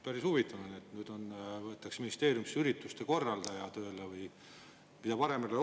Päris huvitav, et nüüd võetakse ministeeriumisse tööle ürituste korraldaja, keda varem ei olnud.